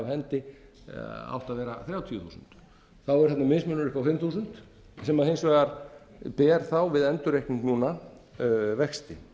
hendi átt að vera þrjátíu þúsund þá er þarna mismunur upp á fimm þúsund sem hins vegar ber þá við endurreikning núna vexti